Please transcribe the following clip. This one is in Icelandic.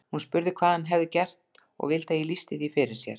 Hún spurði hvað hann hefði gert og vildi að ég lýsti því fyrir sér.